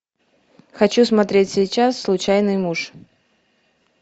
хочу смотреть сейчас случайный муж